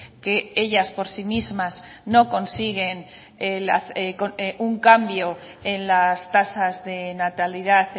que ellas por sí mismas no consiguen un cambio en las tasas de natalidad